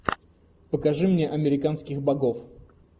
покажи мне американских богов